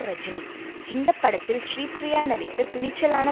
ரஜினி இந்த படத்தில் ஸ்ரீப்ரியா நடித்த துணிச்சலான